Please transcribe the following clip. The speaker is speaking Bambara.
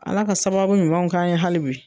Ala ka sababu ɲumanw k'an ye hali bi.